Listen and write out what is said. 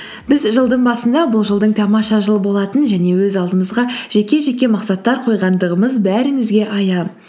біз жылдың басында бұл жылдың тамаша жыл болатынын және өз алдымызға жеке жеке мақсаттар қойғандығымыз бәріңізге аян